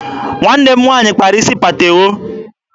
Nwanne m nwaanyị kpara isi patewo.